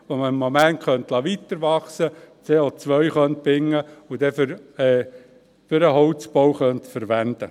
Dieses könnte man im Moment weiterwachsen lassen, könnte CO binden und es dann für den Holzbau verwenden.